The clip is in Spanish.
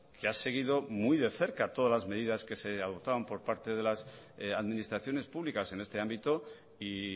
que ha seguido muy de cerca todas las medidas que se adoptaban por parte de las administraciones públicas en este ámbito y